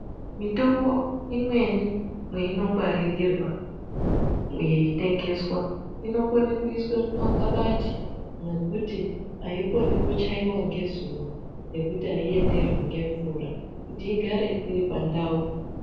Mitombo imweni mweinongwaririrwa yaitengeswa , inokona kuiswa mumakabati mwekuti aikoni kuchaiwa ngezuva nekuti aienderwi ngemvura kuti igare iri pandau.